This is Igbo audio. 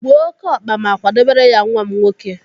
Gbuo ókéọkpa ma kwadebere ya nwa m nwoke.